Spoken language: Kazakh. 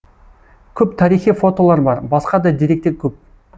көп тарихи фотолар бар басқа да деректер көп